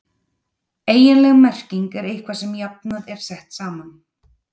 Eiginleg merking er eitthvað sem jafnað er saman.